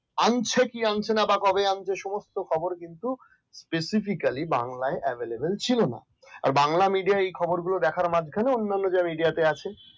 আনছে কি আনছে না বা কবে আনছে সমস্ত খবর কিন্তু specifically বাংলায় available ছিল না আর বাংলা medium এই খবর গুলো দেখার মাধ্যমে অন্যান্য যে রিচেতে আসে